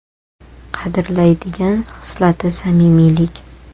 Qadrlaydigan xislati : samimiylik.